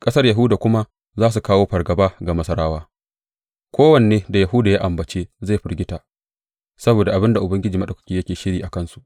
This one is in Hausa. Ƙasar Yahuda kuma za kawo fargaba ga Masarawa; kowanne da Yahuda ya ambace zai firgita, saboda abin da Ubangiji Maɗaukaki yake shiri a kansu.